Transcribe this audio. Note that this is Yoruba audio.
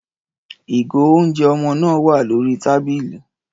Ìgò oúnjẹ ọmọ náà wà lórí tábìlì.